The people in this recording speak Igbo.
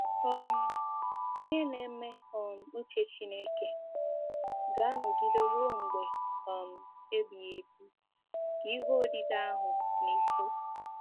um “Onye na-eme um uche Chineke ga-anọgide ruo mgbe um ebighị ebi,” ka ihe odide ahụ na-ekwu.